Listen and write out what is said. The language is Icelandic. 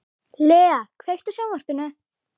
Lea, kveiktu á sjónvarpinu.